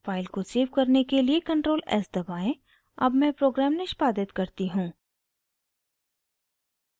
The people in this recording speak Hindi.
फाइल को सेव करने के लिए ctrl +s दबाएं अब मैं प्रोग्राम निष्पादित करती हूँ